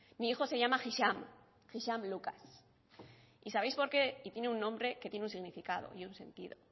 mi hijo se llama hisham lucas y tiene un nombre que tiene un significado y un sentido